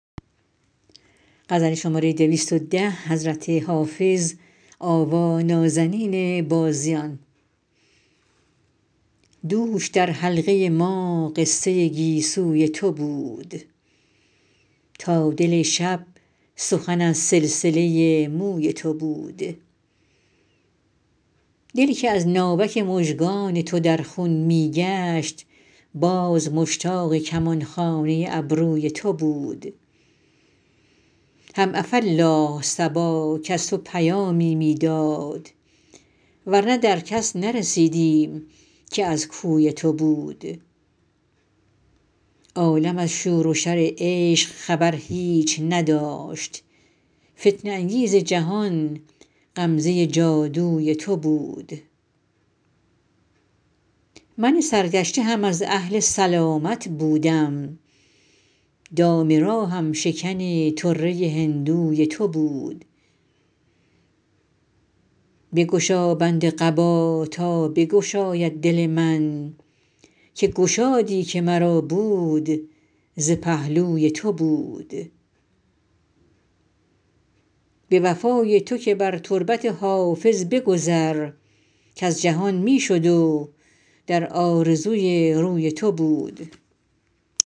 دوش در حلقه ما قصه گیسوی تو بود تا دل شب سخن از سلسله موی تو بود دل که از ناوک مژگان تو در خون می گشت باز مشتاق کمان خانه ابروی تو بود هم عفاالله صبا کز تو پیامی می داد ور نه در کس نرسیدیم که از کوی تو بود عالم از شور و شر عشق خبر هیچ نداشت فتنه انگیز جهان غمزه جادوی تو بود من سرگشته هم از اهل سلامت بودم دام راهم شکن طره هندوی تو بود بگشا بند قبا تا بگشاید دل من که گشادی که مرا بود ز پهلوی تو بود به وفای تو که بر تربت حافظ بگذر کز جهان می شد و در آرزوی روی تو بود